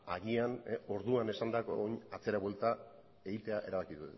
agian orduan esandakoa atzera buelta egitea erabaki